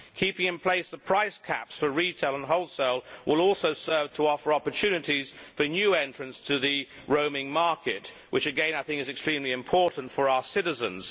Keeping in place the price caps for retail and wholesale will also serve to offer opportunities for new entrants to the roaming market, which again I think is extremely important for our citizens.